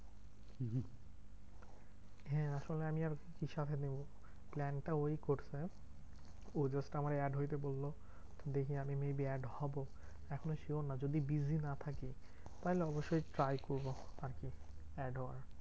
হ্যাঁ আসলে আমি আর ঈসাকে নেবো plan টা ওই করছে ও যেহেতু আমাকে add হইতে বললো দেখি আমি maybe add হবো। এখনও sure না যদি busy না থাকি তাহলে অবশ্যই try করবো আরকি add হওয়ার।